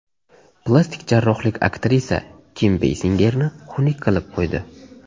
Plastik jarrohlik aktrisa Kim Beysingerni xunuk qilib qo‘ydi.